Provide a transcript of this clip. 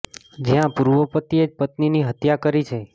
જ્યા પૂર્વ પતિ એ જ પત્નીની હત્યા કરી છે